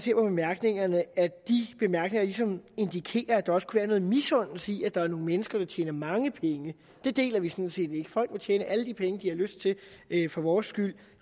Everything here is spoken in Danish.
bemærkningerne ligesom indikerer at der også kunne være noget misundelse i at der er nogle mennesker der tjener mange penge det deler vi sådan set ikke folk må tjene alle de penge de har lyst til for vores skyld